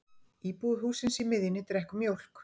Íbúi hússins í miðjunni drekkur mjólk.